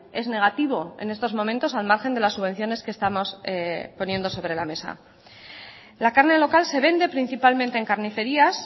es negativo en estos momentos al margen de las subvenciones que estamos poniendo sobre la mesa la carne local se vende principalmente en carnicerías